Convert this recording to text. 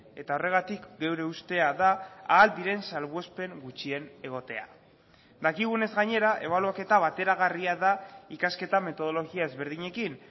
eta horregatik geure ustea da ahal diren salbuespen gutxien egotea dakigunez gainera ebaluaketa bateragarria da ikasketa metodologia ezberdinekin